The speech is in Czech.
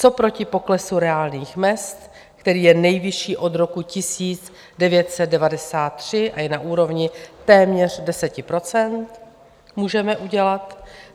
Co proti poklesu reálných mezd, který je nejvyšší od roku 1993 a je na úrovni téměř 10 %, můžeme udělat?